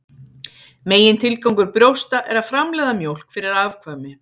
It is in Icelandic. Megintilgangur brjósta er að framleiða mjólk fyrir afkvæmi.